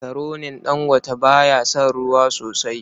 Makaronin Dangote ba ya son ruwa sosai.